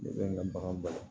Ne bɛ n ka bagan mara